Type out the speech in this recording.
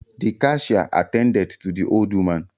The cashier attended to the old woman